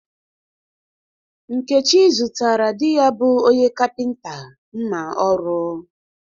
Nkechi zụtara di ya bụ onye kapịnta mma ọrụ